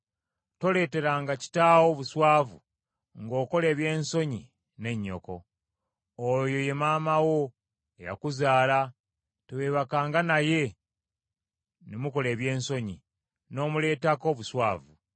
“ ‘Toleeteranga kitaawo buswavu ng’okola ebyensonyi ne nnyoko. Oyo ye maama wo eyakuzaala, teweebakanga naye ne mukola ebyensonyi, n’omuleetako obuswavu.